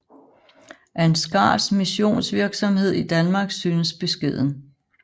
Ansgars missionsvirksomhed i Danmark synes beskeden